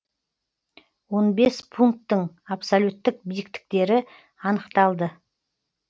он бес пункттің абсолюттік биіктіктері анықталды